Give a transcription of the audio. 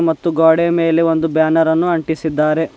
ಮತ್ತು ಗ್ವಾಡೆಯ ಮೇಲೆ ಒಂದು ಬ್ಯಾನರನ್ನು ಅಂಟಿಸಿದ್ದಾರೆ.